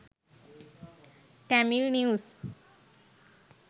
tamil news